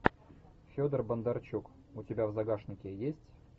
федор бондарчук у тебя в загашнике есть